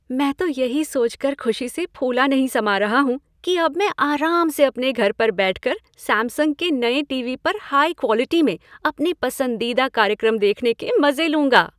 मैं तो यही सोचकर खुशी से फूला नहीं समा रहा हूँ कि अब मैं आराम से अपने घर पर बैठकर सैमसंग के नए टीवी पर हाई क्वालिटी में अपने पसंदीदा कार्यक्रम देखने के मज़े लूँगा।